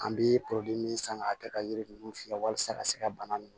An bɛ min san ka kɛ ka yiri ninnu fiyɛ walasa ka se ka bana ninnu